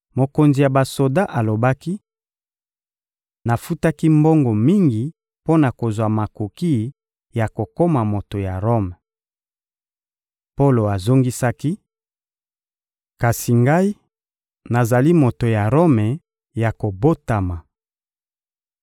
Mokonzi ya basoda alobaki: — Nafutaki mbongo mingi mpo na kozwa makoki ya kokoma moto ya Rome. Polo azongisaki: — Kasi ngai, nazali moto ya Rome ya kobotama.